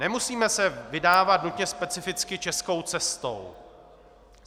Nemusíme se vydávat nutně specificky českou cestou.